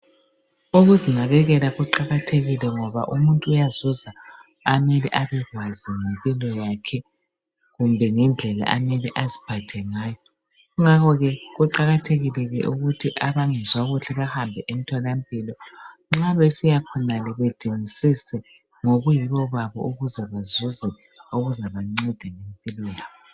Ukuzinakekela kuqakathekile umuntu uyazuza okumele abekwazi ngempilo yakhe kumbe ngendlela okumele aziphathe ngayo. Kungakho ke kuqakathekile ke ukuthi abangezwa kahle bahambe emtholampilo, nxa besiyakhonale badingisise ngobuyibo babo ukuze badingisise okuzabanceda ngempilo yabo.